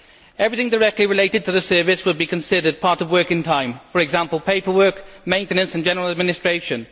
Everything directly related to the service would be considered part of working time for example, paperwork, maintenance and general administration.